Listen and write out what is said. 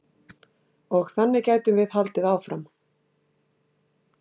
Og þannig gætum við haldið áfram.